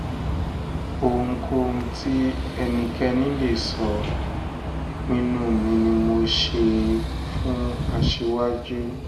ohunkóhun tí ẹnikẹ́ni lè sọ ìpinnu mi ni mo ṣe é fún aṣíwájú